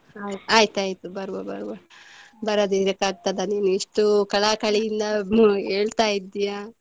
ಹಾ ಆಯ್ತು ಆಯ್ತು ಬರುವ ಬರುವ, ಬರದಿದ್ರೆ ಆಗ್ತದ ನೀವು ಇಷ್ಟು ಕಳಕಳಿಯಿಂದ ಹೇಳ್ತಾ ಇದ್ದೀಯಾ.